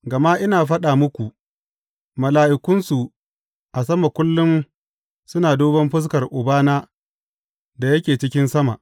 Gama ina faɗa muku mala’ikunsu a sama kullum suna duban fuskar Ubana da yake cikin sama.